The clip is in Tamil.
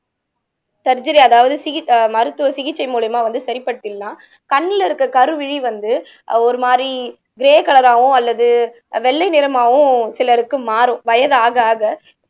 சர்ஜரி அதாவது சிகி மருத்துவ சிகிச்சை மூலியமா வந்து சரிபடுத்திடலாம் கண்ணுல இருக்க கருவிழி வந்து ஒரு மாதிரி கிரே கலராவோ அல்லது வெள்ளை நிறமாவோ சிலருக்கு மாறும் வயதாக ஆக ஆக